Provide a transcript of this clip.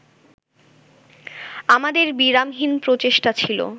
আমাদের বিরামহীন প্রচেষ্টা ছিল